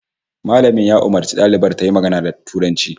Malamin ya umarci dalibar tayi magana da Turanci